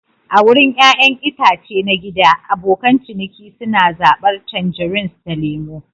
A wurin ƴaƴan itace na gida, abokan ciniki suna zabar tangerines da lemu.